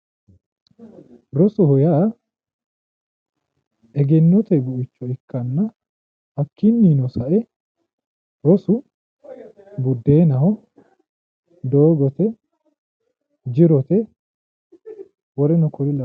Rosoho yaa egennote buicho ikkanna hakkinino sae rosu budennaho ,doogote jirote woleno kuri lawanore